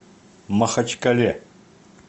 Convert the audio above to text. махачкале